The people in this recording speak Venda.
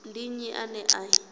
ndi nnyi ane a i